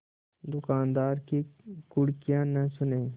दुकानदार की घुड़कियाँ न सुने